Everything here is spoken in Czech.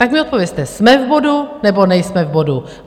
Tak mi odpovězte: Jsme v bodu nebo nejsme v bodu?